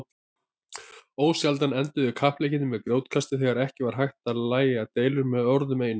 Ósjaldan enduðu kappleikirnir með grjótkasti þegar ekki var hægt að lægja deilur með orðunum einum.